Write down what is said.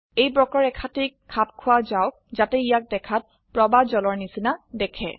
এই বক্ৰৰেখাটিক খাপ খোৱা যাওক যাতে ইয়াক দেখাত প্ৰবাহ জলৰ নিচিনা দেখে